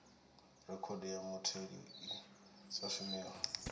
rekhodo ya mutheli i sa shumiho